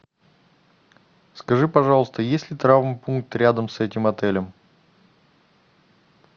скажи пожалуйста есть ли травмпункт рядом с этим отелем